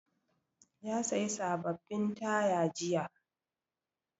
Ya sayi sababbin taya jiya.